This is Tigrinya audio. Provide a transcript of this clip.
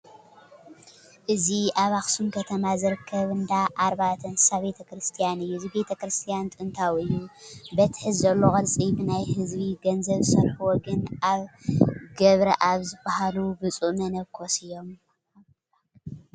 እዚ ኣብ ኣኽሱም ከተማ ዝርከብ እንዳ ኣርባእቱ እንስሳ ቤተ ክርስቲያን እዩ፡፡ እዚ ቤተ ክርስቲያን ጥንታዊ እዩ፡፡ በቲ ሕዚ ዘለዎ ቅርፂ ብናይ ህዝቢ ገንዘብ ዘስርሕዎ ግን ኣባ ገብረኣብ ዝበሃሉ ብፁእ መነኮስ እዮም፡፡